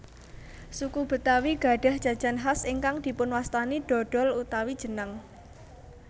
Suku Betawi gadhah jajan khas ingkang dipunwastani dhodhol utawi jenang